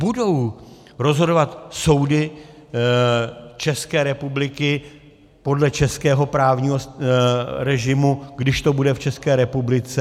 Budou rozhodovat soudy České republiky podle českého právního režimu, když to bude v České republice?